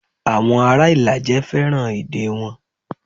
Awon ara Ilaje feran ede won.